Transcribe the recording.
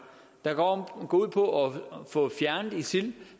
der går ud på at få fjernet isil